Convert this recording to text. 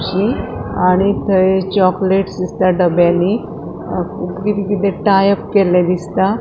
आणि थंय चोकलेट दिसता डोब्यानी किते किते टाइप केले दिसता.